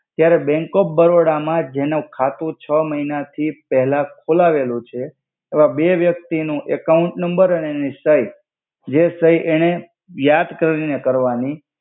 ત્યારે bank of Baroda મા જેનુ ખાતુ છ મહિના થી પેલા ખોલાવેલુ છે એવા બે વ્યક્તિ નુ એકાઉંટ નમ્બર અને એનિ સઈ જે સઈ એને યદ કરિ ને કર્વાનિ